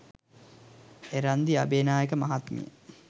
එරන්දි අබේනායක මහත්මිය